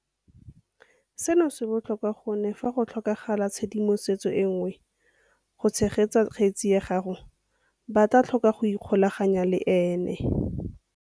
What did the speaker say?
Seno se botlhokwa gonne fa go tlhokagala tshedimosetso e nngwe go tshegetsa kgetse ya gagwe ba tla tlhoka go ikgolaganya le ene.